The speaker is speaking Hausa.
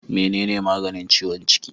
Mene ne maganin ciwon ciki?